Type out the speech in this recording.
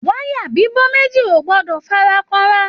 Wayà bibo méjì o gbọdọ farakanra.